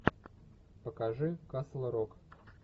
покажи касл рок